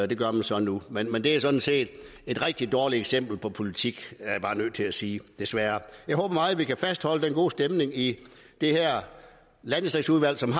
det gør man så nu men men det er sådan set et rigtig dårligt eksempel på politik er jeg bare nødt til at sige desværre jeg håber meget vi kan fastholde den gode stemning i landdistriktsudvalget